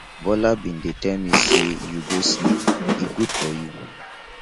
bola bin dey tell me say you go sleep e good for you